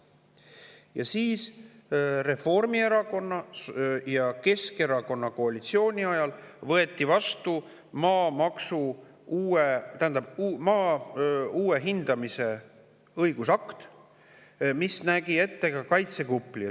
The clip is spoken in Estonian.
Ja siis võeti Reformierakonna ja Keskerakonna koalitsiooni ajal vastu maa uue hindamise õigusakt, mis nägi ette ka kaitsekupli.